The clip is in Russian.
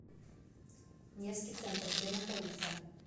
невский центр где находится